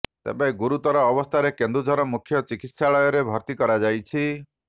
ତେବେ ଗୁରୁତର ଅବସ୍ଥାରେ କେନ୍ଦୁଝର ମୁଖ୍ୟ ଚିକିତ୍ସାଳୟରେ ଭର୍ତି କରାଯାଇଛି